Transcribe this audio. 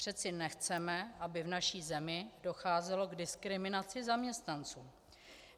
Přece nechceme, aby v naší zemi docházelo k diskriminaci zaměstnanců.